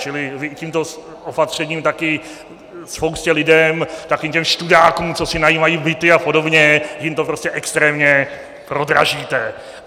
Čili tímto opatřením taky spoustě lidí, takovým těm študákům, co si najímají byty a podobně, jim to prostě extrémně prodražíte.